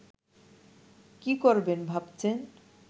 কি করবেন ভাবছেন